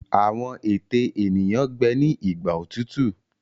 Àwọn ète eniyan gbé ní Igbà òtútù.